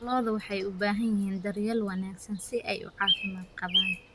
Lo'du waxay u baahan yihiin daryeel wanaagsan si ay u caafimaad qabaan.